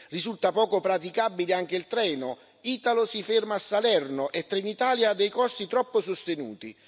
Risulta poco praticabile anche il treno Italo si ferma a Salerno e Trenitalia ha dei costi troppo sostenuti.